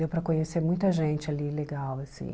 Deu para conhecer muita gente ali legal, assim.